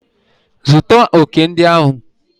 Zụta òkè ndị ahụ!